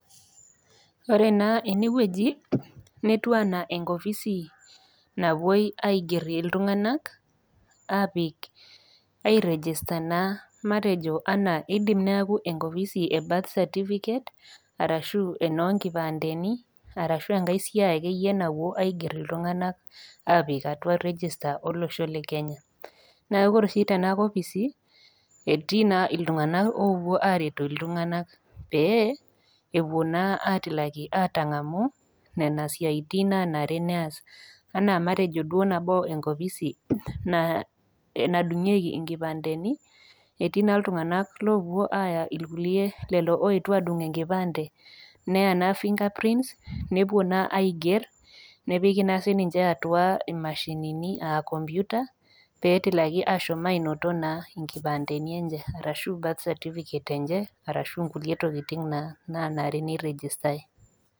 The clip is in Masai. Ore naa ene wueji netiu anaa enkopisi napuoi aiger iltung'ana aapik, airegista naa matejo anaa eidim neaku enkopisi e birth certificate, arashu enoo nkipandeni, arashu enkai siai ake iyie napuoi aiger iltung'ana, apik atua regista olosho le Kenya. Neaku ore oshi te ena kopisi, etii naa iltung'ana oopuo aret iltung'ana pee epuo naa atilaki atang'amu Nena siaitin nanare neas, anaa matejo duo enkopisi nadungieki inkipandeni, etii naa iltung'ana loopuo aaya ilkulie aa lelo oetuo adung' enkipande neya naa fingerprint nepuo naa aiger, nepiki naa sininye atua imashinini aa kompyuta pee etilakini ashom ainoto naa inkipandeni enye arashu birth certificate enye arashu kulie tokitin naa nanare neiregistai.